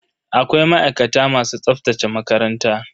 Akwai ma'aikata masu tsaftace makaranta.